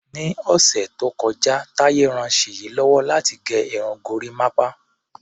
Ni ọ̀sẹ̀ tó kọjá, Taye ran Ṣèyí lọ́wọ́ láti gẹ irun gorímápá.